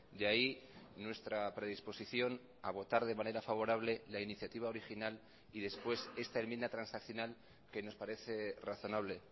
de ahí nuestra predisposición a votar de manera favorable la iniciativa original y después esta enmienda transaccional que nos parece razonable